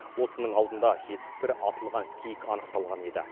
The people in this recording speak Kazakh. осының алдында жетпіс бір атылған киік анықталған еді